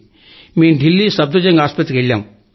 మేం ఢిల్లీ సఫ్ధర్ జంగ్ ఆస్పత్రికి వెళ్లాం